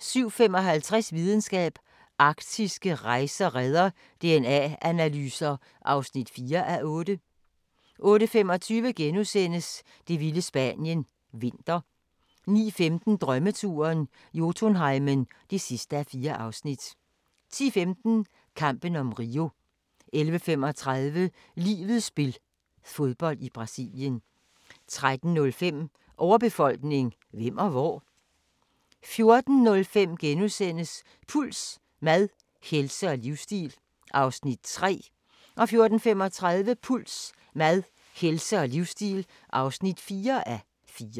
07:55: Videnskab: Arktiske rejer redder DNA-analyser (4:8) 08:25: Det vilde Spanien – vinter * 09:15: Drømmeturen - Jotunheimen (4:4) 10:15: Kampen om Rio 11:35: Livets spil – fodbold i Brasilien 13:05: Overbefolkning – hvem og hvor? 14:05: Puls: Mad, helse og livsstil (3:4)* 14:35: Puls: Mad, helse og livsstil (4:4)